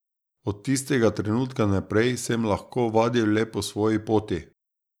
Od tistega trenutka naprej sem lahko vadil le po svoji poti.